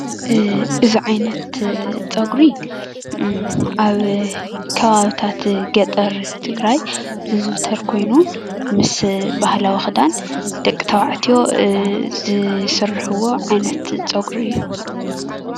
እዚ ዓይነት ፀጉሪ ኣብ ከባብታት ገጠር ትግራይ ዝዝዉተር ኮይኑ ምስ ብህላዊ ክዳን ደቂ ተባዕትዮ ዝስርሕዎ ዓይነት ፀጉሪ እዩ።